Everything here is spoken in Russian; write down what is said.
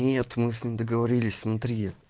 нет мы с ним договорились внутри